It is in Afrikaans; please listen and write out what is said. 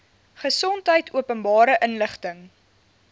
gesondheid openbare inligting